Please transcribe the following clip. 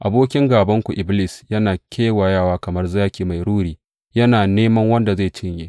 Abokin gābanku, Iblis yana kewayewa kamar zaki mai ruri, yana neman wanda zai cinye.